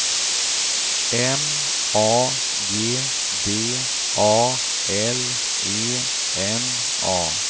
M A G D A L E N A